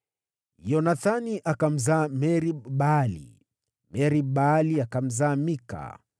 Yonathani akamzaa Merib-Baali, naye Merib-Baali akamzaa Mika.